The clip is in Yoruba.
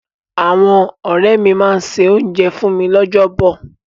Àwọn ọ̀rẹ́ máa se oúnjẹ fún mi lọ́jọ́ bọ̀.